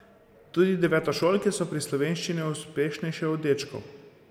Tudi devetošolke so pri slovenščini uspešnejše od dečkov.